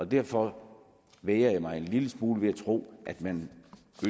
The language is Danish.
derfor vægrer jeg mig en lille smule ved at tro at man